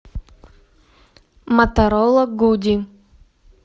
моторола гуди